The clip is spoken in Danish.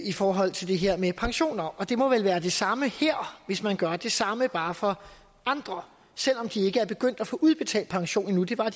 i forhold til det her med pensioner og det må vel være det samme her hvis man gør det samme bare for andre selv om de ikke er begyndt at få udbetalt pension endnu det var